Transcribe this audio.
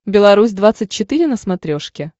беларусь двадцать четыре на смотрешке